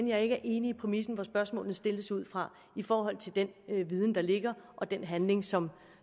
jeg ikke er enig i præmissen som spørgsmålene stilles ud fra i forhold til den viden der ligger og den handling som